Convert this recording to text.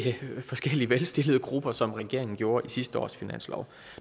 forskellige velstillede grupper som regeringen gjorde i sidste års finanslov